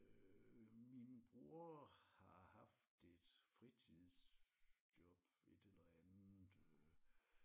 Øh min bror har haft et fritidsjob et eller andet øh